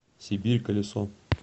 сибирь колесо